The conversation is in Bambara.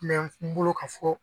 Minɛn ti n bolo ka fɔ